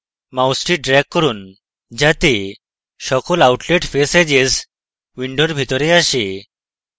মাউসটি drag করুন যাতে সকল outlet face edges window ভিতরে আসে